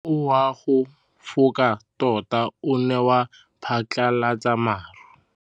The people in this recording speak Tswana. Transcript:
Mowa o wa go foka tota o ne wa phatlalatsa maru.